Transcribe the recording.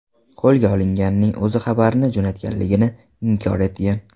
Qo‘lga olinganning o‘zi xabarni jo‘natganligini inkor etgan.